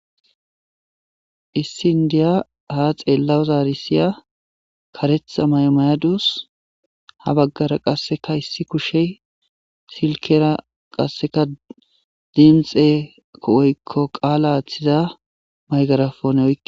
issi indiya ha xeella zaarisiya karetha maymayadus ha baggara qasseka issi kushey silkera qasseka dimxeooykko qaala athiza maygarafone oy